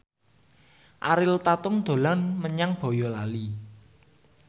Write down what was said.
Ariel Tatum dolan menyang Boyolali